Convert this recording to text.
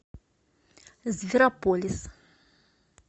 зверополис